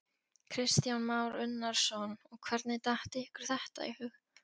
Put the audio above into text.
Kristján Már Unnarsson: Og hvernig datt ykkur þetta í hug?